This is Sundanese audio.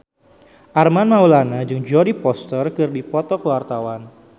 Armand Maulana jeung Jodie Foster keur dipoto ku wartawan